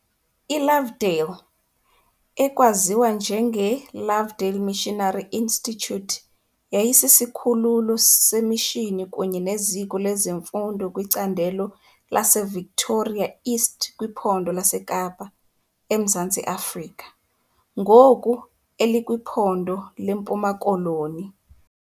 ILovedale, ekwaziwa njengeLovedale Missionary Institute yayisisikhululo semishini kunye neziko lemfundo kwicandelo laseVictoria East kwiPhondo laseKapa, eMzantsi Afrika, ngoku elikwiPhondo leMpuma Koloni .